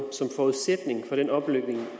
som forudsætning for den